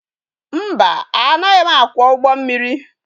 Mba, anaghị akwọ ụgbọ mmiri.